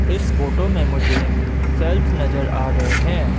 इस फोटो में मुझे शेल्व्स नजर आ रहे हैं।